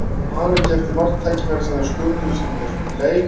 Ég man ekki eftir marktækifæri sem þeir sköpuðu sér í þessum leik.